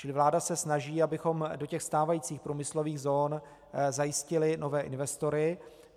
Čili vláda se snaží, abychom do těch stávajících průmyslových zón zajistili nové investory.